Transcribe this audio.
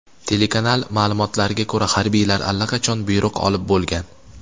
Telekanal ma’lumotlariga ko‘ra, harbiylar allaqachon buyruq olib bo‘lgan.